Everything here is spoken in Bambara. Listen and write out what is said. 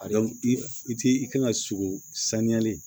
A dɔn i ti i kan ka sogo saniyalen